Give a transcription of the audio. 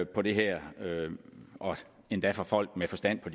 på det her og endda fra folk med forstand på